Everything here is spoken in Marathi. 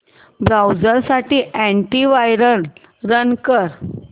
ब्राऊझर साठी अॅंटी वायरस रन कर